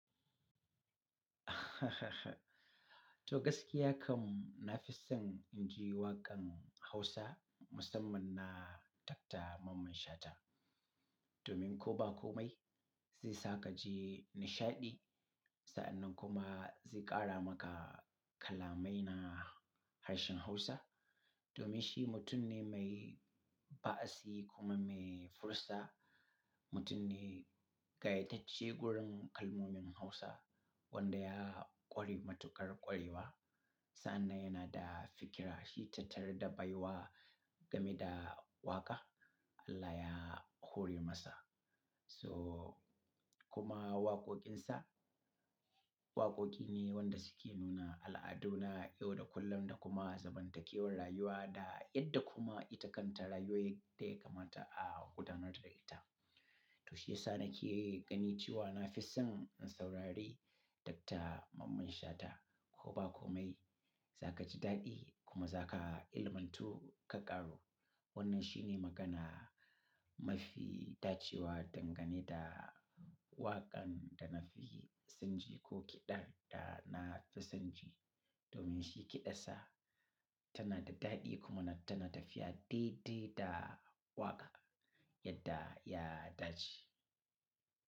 To gaskiya kam na fi son inji waƙan Hausa musamman na Dr. Mamman Shata. Domin ko ba komai, zai sa ka ji nishaɗi, sa'annan kuma zai ƙara maka kalamai na harshen Hausa. Domin shi mutum ne mai ba'a si kuma mai fursa, mutum ne ga ita ce gurin kalmomin Hausa wanda ya ƙori matuƙar ƙuriwa. Sa'an nan yana da fikira shi tattara da baiwa game da waƙa Allah ya hore masa. So kuma waƙoƙin sa, waƙoƙi ne wanda suke nuna al'adu na yau da kullum da kuma zamantakewar rayuwa da yadda kuma ita kan ta rayuwaye dai kamata a kudanar da ita. To shiyasa na ke gani cewa na fi son in saurari Dr. Mamman Shata ko ba komai, za ka ji daɗi kuma za ka ilimantu ka ƙaru. Wannan shi ne magana mafi dacewa dangane da waƙan da na fi son ji ko kiɗan da na fi son ji. Domin shi kiɗansa tana da daɗi kuma tana tafiya daidai da waƙa yadda ya dace.